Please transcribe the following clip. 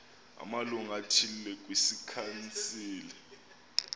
amalungu athile kwikhansile